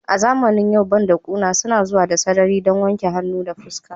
A zamanin yau bandakuna suna zuwa da sarari don wanke hannu da fuska